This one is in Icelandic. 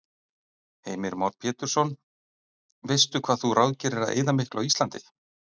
Heimir Már Pétursson: Veistu hvað þú ráðgerir að eyða miklu á Íslandi?